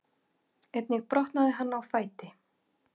Einnig brotnaði hann á fæti